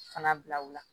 Fana bila u la